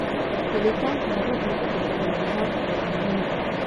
Helitaanka habab lagu dhimo walbahaarka waa muhiim.